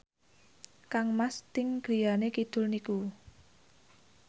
kangmas Sting griyane kidul niku